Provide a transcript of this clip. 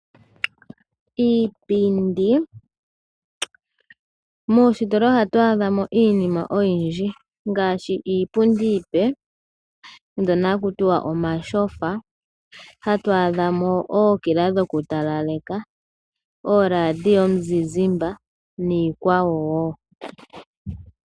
Iipindi, moostola ohatu adhamo iinima oyindji ngaashi iipundi iipe ndyono haku tiwa omatyofa. Ohatu adhamo ookila dhokutalaleka, ooradio dhomuzizimba niikwawo wo.